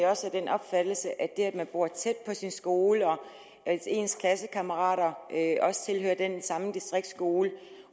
også af den opfattelse at det at man bor tæt på sin skole og at ens klassekammerater også tilhører den samme distriktsskole